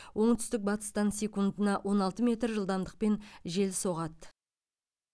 оңтүстік батыстан секундына он алты метр жылдамдықпен жел соғады